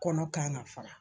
Kɔnɔ kan ka fara.